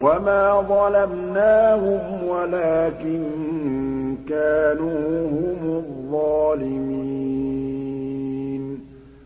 وَمَا ظَلَمْنَاهُمْ وَلَٰكِن كَانُوا هُمُ الظَّالِمِينَ